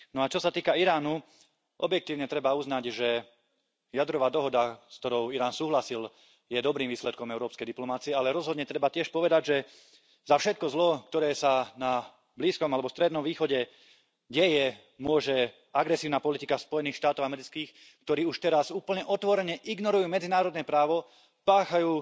No a čo sa týka Iránu, objektívne treba uznať, že jadrová dohoda, s ktorou Irán súhlasil, je dobrým výsledkom európskej diplomacie, ale rozhodne treba tiež povedať, že za všetko zlo, ktoré sa na Blízkom alebo Strednom východe deje, môže agresívna politika Spojených štátov amerických, ktoré už teraz úplne otvorene ignorujú medzinárodné právo, páchajú